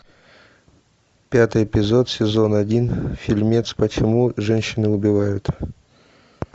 пятый эпизод сезон один фильмец почему женщины убивают